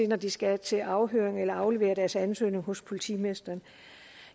når de skal til afhøring eller afleverer deres ansøgning hos politimesteren